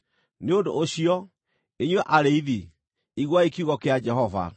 nĩ ũndũ ũcio, inyuĩ arĩithi, iguai kiugo kĩa Jehova: